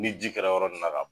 Ni ji kɛra yɔrɔ nin ka